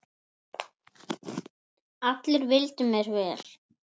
Allir vildu mér vel.